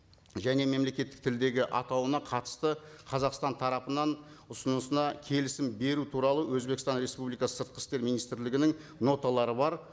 және мемлекеттік тілдегі атауына қатысты қазақстан тарапынан ұсынысына келісім беру туралы өзбекстан республикасы сыртқы істер министрлігінің ноталары бар